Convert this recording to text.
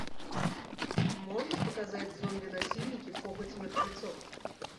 можешь показать зомби насильники похоть мертвецов